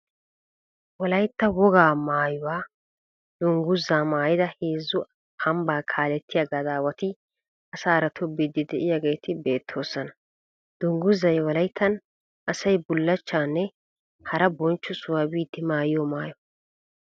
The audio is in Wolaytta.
Wolayitta wogaa maayuwa dungguzaa maayida heezzu amibbaa kaalettiya gadaawati asaara toobbiiddi de'iyageeti beettoosona. Dungguzay wolayittan asay bullachchaanne hara bonchcho sohuwa biiddi maayiyo mayyo.